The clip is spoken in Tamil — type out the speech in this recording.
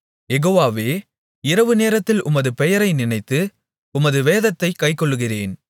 யெகோவாவே இரவுநேரத்தில் உமது பெயரை நினைத்து உமது வேதத்தைக் கைக்கொள்ளுகிறேன்